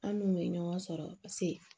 An n'u bɛ ɲɔgɔn sɔrɔ paseke